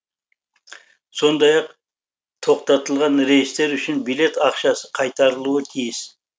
сондай ақ тоқтатылған рейстер үшін билет ақшасы қайтарылуы тиіс